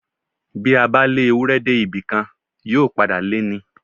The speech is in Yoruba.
Bí a bá lé Ewúrẹ́ dé ibì kan, yóò padà lé ni.